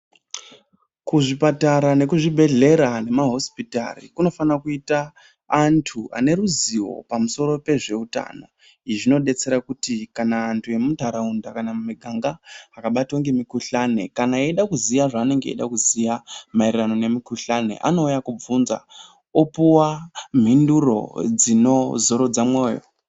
Kuzvipatara nekuzvibhedhlera nema hosipitari kunofana kuita antu ane ruzivo pamusoro pezveutano izvi zvinodetsera kuti kana antu emunharaunda kana mumiganga akabatwa ngemikuhlani kana eida kuziya zvaanenge eida kuziya maererano nemikuhlani anouya kubvunza opuwa mhinduro dzinozorodza moyo.